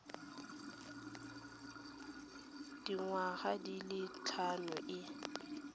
dingwaga di le tlhano e